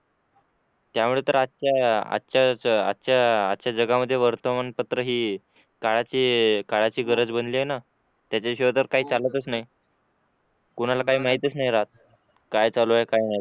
त्यामुळे तर आजच्या आजच्या आजच्या जगामध्ये वर्तमानपत्र ही काळाची काळाची गरज बनली आहे ना त्याच्याशिवाय काही चालतच नाही कोणाला काही माहीतच राहत नाही काय चालू आहे काय नाही